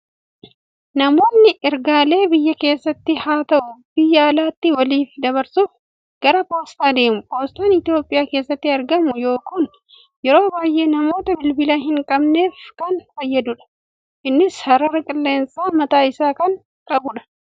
Namoonni ergaalee biyya keessattis haa ta'u, biyya alaatti waliif dabarsuuf gara Poostaa deemu. Poostaan Itoophiyaa keessatti argamu kun yeroo baay'ee namoota bilbila hin qabneef kan fayyadudha. Innis sarara qilleensaa mataa isaa kan qabudha.